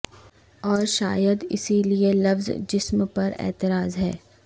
اور شائد اسی لیے لفظ جسم پر اعتراض ہے